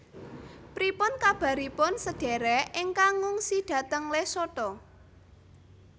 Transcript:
Pripun kabaripun sedherek ingkang ngungsi dhateng Lesotho